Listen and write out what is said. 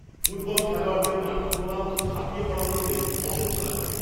Football খেলোয়াড়দের মাঠে ক্রমাগত ঝাঁপিয়ে পড়া দেখলে অসহ্য লাগে।